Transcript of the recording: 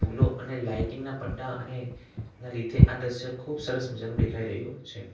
ફૂલો અને લાઇટિંગ ના પટ્ટા અને એના લીધે આ દ્રશ્ય ખુબ સરસ મજાનું દેખાઈ રહ્યું છે.